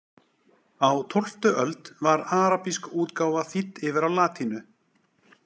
Á tólftu öld var arabísk útgáfa þýdd yfir á latínu.